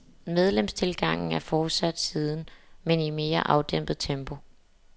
Medlemstilgangen er fortsat siden, men i mere afdæmpet tempo.